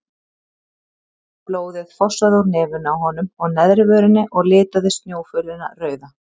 Blóðið fossaði úr nefinu á honum og neðri vörinni og litaði snjófölina rauða.